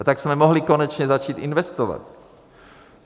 A tak jsme mohli konečně začít investovat.